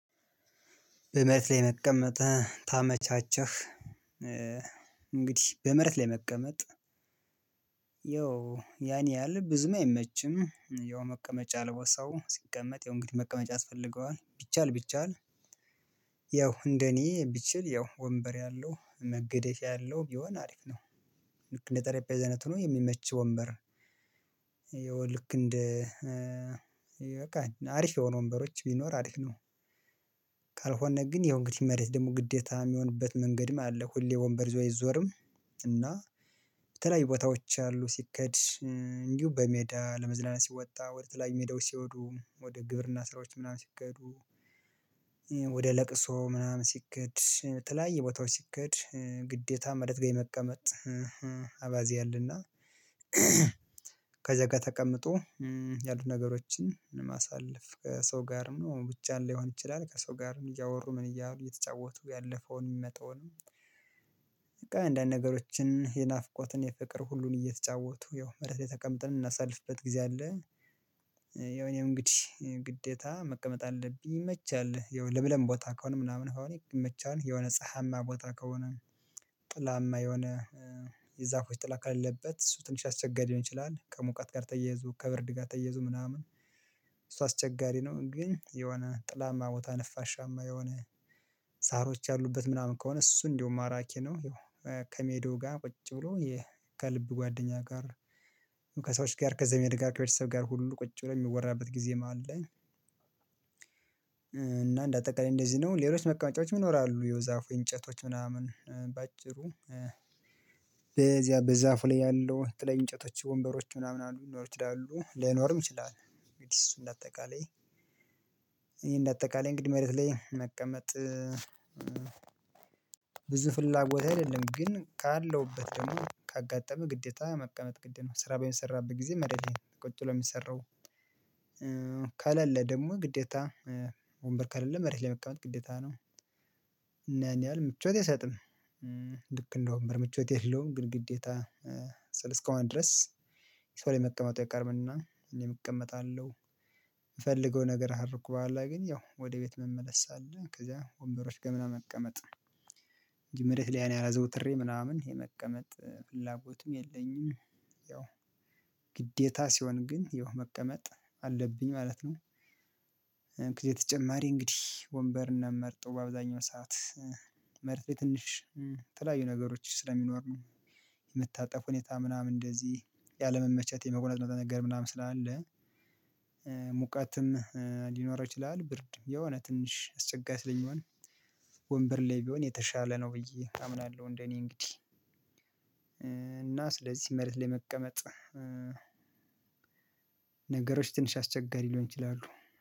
በመሬት ላይ መቀመጥ ታመቻቸህ። እንግዲህ በመሬት ላይ መቀመጥ ያን ያህል ብዙም አይመችም። ያው መቀመጫ ለቦታ ሰው ሲቀመጥ ያው እንግዲህ መቀመጫ ያስፈልገዋል ቢቻል ቢቻል። ያው እንደኔ ቢችል ያው ወንበር ያለው መገደፍያ ያለው ቢሆን አሪፍ ነው። ልክ እንደ ጠረጴዛ አይነት ሆኖ የሚመች ወንበር። ይሄው ልክ እንደ በቃ አሪፍ የሆኑ ወንበሮች ቢኖር አሪፍ ነው። ካልሆነህ ግን ያው እንግዲህ መሬት ደግሞ ግዴታ የሚሆንበት መንገድም አለ ሁሌ ወንበር ይዞ አይዞርም። እና በተለያዩ ቦታዎች አሉ። ሲኬድ እንዲሁ በሜዳ ለመዝለናናት ሲወጣ ወደ ተለያዩ ሜዳዎች ሲወዱ ወደ ግብርና ስራዎች ምናምን ሲኬዶ። ወደ ለቅሶ ምናምን ሲኬድ ተለያየ ቦታዎች ሲኬድ ግዴታ መሬት ጋር መቀመጥ። አባዜ አለና። ከዛ ጋር ተቀምጦ ያሉት ነገሮችን ማሳለፍ ከሰው ጋርም ነው ብቻ ሊይሆን ይችላል። ከሰው ጋርም እያወሩ ምን እያሉ እየተጫወቱ ያለፈውን የሚመጣውን። በቃ አንዳንድ ነገሮችን የናፍቆትን የፍቅር ሁሉን እየተጫወቱ ያው መሬት ላይ ተቀምጠን እምናሳልፍበት ጊዜ አለ። ያው እኔም እንግዲህ ግዴታ መቀመጥ አለብኝ ይመቻል። ያው ለምለም ቦታ ከሆነ ምናምን አሁን ይመቻል የሆነ ፀሀያማ ቦታ ከሆነ ጥላማ የሆነ የዛፎች ጥላ ከሌለበት እሱ ትንሽ አስቸጋሪ ሊሆን ይችላል። ከሙቀት ጋር ተያይዞ ከብርድ ጋር ተያይዞ ምናምን እሱ አስቸጋሪ ነው። ግን የሆነ ጥላማ ቦታ ነፋሻማ የሆነ ሳሮች ያሉበት ምናምን ከሆነ እሱ እንደውም ማራኪ ነው። ይኸው ከሜዳው ጋር ቁጭ ብሎ ከልብ ጓደኛ ጋር ከሰዎች ጋር ከዘመድ ጋር ከቤተሰብ ጋር ሁሉ ቁጭ ብለው የሚወራበት ጊዜ አለ። እና እንደ አጠቃላይ እንደዚህ ነው። ሌሎች መቀመጫዎች ይኖራሉ የዛፉ እንጨቶች ምናምን በአጭሩ በዚያ በዛፉ ላይ ያለው የተለያዩ እንጨቶች ወንበሮች ምናምን አሉ ሊኖሩ ይችላሉ ላይኖርም ይችላል። እንግዲህ እሱን እንደ አጠቃላይ ይሄን እንደ አጠቃላይ እንግዲህ መሬት ላይ መቀመጥ። ብዙ ፍላጎት አይደለም። ግን ካለሁበት ደግሞ ካጋጠመ ግዴታ መቀመጥ ግዴታ ነው። ስራ በሚሰራበት ጊዜ መሬት ላይ ቁጭ ብሎ የሚሰራው። ከሌለ ደግሞ ግዴታ ወንበር ከሌለ መሬት መቀመጥ ግዴታ ነው። እና ያን ያህል ምቾት አይሰጥም። ልክ እንደ ወንበር ምቾት የለውም። ግን ግዴታ ስል እስካሁን ድረስ ሰው ላይ መቀመጡ አይቀርም እና እኔም እቀመጣለሁ። የምፈልገው ነገር ካደረኩ በኋላ ግን ያው ወደ ቤት መመለስ አለ። ከዛ ወንበሮች ገምና መቀመጥ። መሬት ላይ ያን ያህል አዘውትሬ ምናምን የመቀመጥ ፍላጎቱም የለኝም። ያው ግዴታ ሲሆን ግን ይኸው መቀመጥ አለብኝ ማለት ነው። የተጨማሪ እንግዲህ ወንበርነት መርጦ በአብዛኛው ሰዓት መርፌ ትንሽ ተለያዩ ነገሮች ስለሚኖሩ የምታጠፍ ሁኔታ ምናምን እንደዚህ ያለመመቻት የመቁነጥነጥ ነገር ምናምን ስላለ። ሙቀትም ሊኖረው ይችላል ብርድ የሆነ ትንሽ አስቸጋሪ ስለሚሆን። ወንበር ላይ ቢሆን የተሻለ ነው ብዬ አምናለሁ። እንደኔ እንግዲህ እና ስለዚህ መሬት ላይ መቀመጥ። ነገሮች ትንሽ አስቸጋሪ ሊሆኑ ይችላሉ